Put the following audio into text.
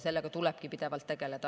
Sellega tulebki pidevalt tegeleda.